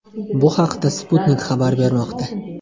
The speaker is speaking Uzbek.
Bu haqda Sputnik xabar bermoqda.